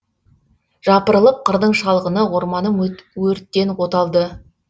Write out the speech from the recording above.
жапырылып қырдың шалғыны орманым өрттен оталды